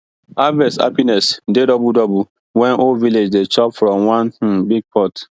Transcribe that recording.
harvest happiness dey double double when whole village dey chop from one um big pot